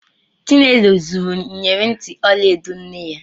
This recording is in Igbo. Chinelo zuru ịyerị ntị ọla edo nne ya.